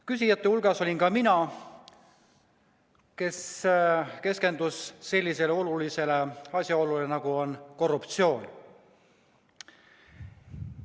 Küsijate hulgas olin ka mina, kes ma keskendusin sellisele olulisele nähtusele, nagu on korruptsioon.